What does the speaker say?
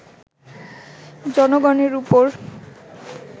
জনগণের ওপর